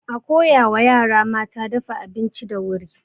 A koya wa yara mata dafa abinci da wuri.